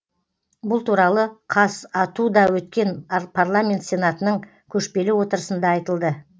бұл туралы қазату да өткен парламент сенатының көшпелі отырысында айтылды